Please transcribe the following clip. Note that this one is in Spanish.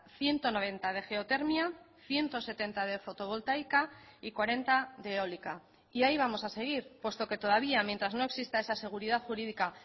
ciento noventa de geotermia ciento setenta de fotovoltaica y cuarenta de eólica y ahí vamos a seguir puesto que todavía mientras no exista esa seguridad jurídica